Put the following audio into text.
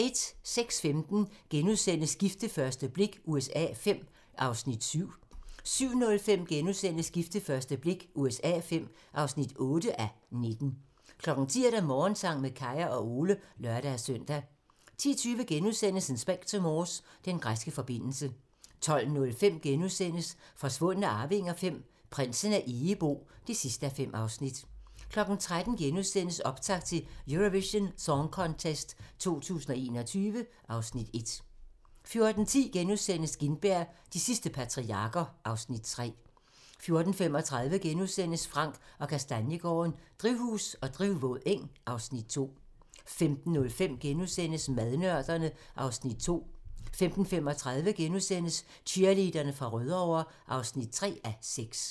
06:15: Gift ved første blik USA V (7:19)* 07:05: Gift ved første blik USA V (8:19)* 10:00: Morgensang med Kaya og Ole (lør-søn) 10:20: Inspector Morse: Den græske forbindelse * 12:05: Forsvundne arvinger V: Prinsen af Egebo (5:5)* 13:00: Optakt til Eurovision Song Contest 2021 (Afs. 1)* 14:10: Gintberg - de sidste patriarker (Afs. 3)* 14:35: Frank & Kastaniegaarden - Drivhus og drivvåd eng (Afs. 2)* 15:05: Madnørderne (Afs. 2)* 15:35: Cheerleaderne fra Rødovre (3:6)*